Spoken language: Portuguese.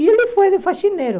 E ele foi de faxineiro.